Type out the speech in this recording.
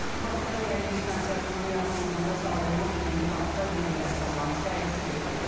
Bakıda Gənclik stansiyasının yaxınlığında salınmış yeni parkda gənc rəssamların sərgisi keçirilib.